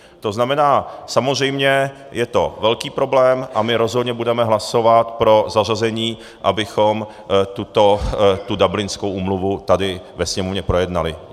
To znamená, samozřejmě je to velký problém a my rozhodně budeme hlasovat pro zařazení, abychom tu Dublinskou úmluvu tady ve Sněmovně projednali.